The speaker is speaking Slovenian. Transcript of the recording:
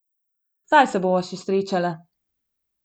Saj se bova še srečala.